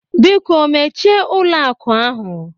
Biko mechie ụlọ akụ ahụ!